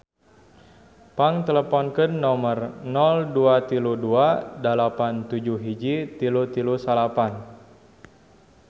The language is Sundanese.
Pang teleponkeun nomer 0232 871339